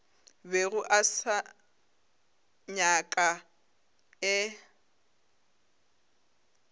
bego a se nyaka e